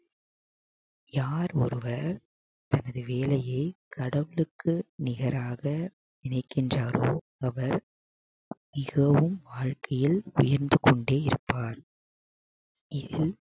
யார் ஒருவர் தனது வேலையை கடவுளுக்கு நிகராக நினைக்கின்றாரோ அவர் மிகவும் வாழ்க்கையில் உயர்ந்து கொண்டே இருப்பார் இதில்